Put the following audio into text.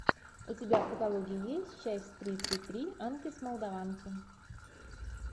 у тебя в каталоге есть часть тридцать три анки с молдованки